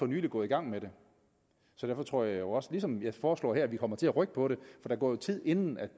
nylig gået i gang med det så derfor tror jeg også ligesom jeg foreslår her at vi kommer til at rykke på det for der går jo tid inden